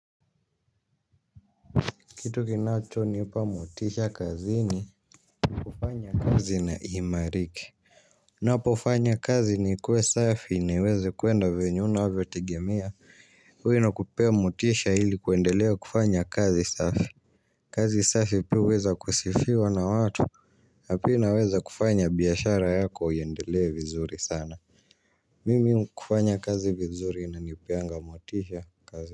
Kitu kinachonipa motisha kazini. Kufanya kazi na iimarike. Napofanya kazi nikue safi niweze kuenda venye unavyotegemea. Huyo anakupea motisha ili kuendelea kufanya kazi safi. Kazi safi pia huweza kusifiwa na watu na pia inaweza kufanya biashara yako iendelee vizuri sana. Mimi kufanya kazi vizuri inanipeanga motisha kazi.